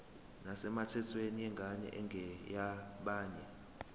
nesemthethweni yengane engeyabanye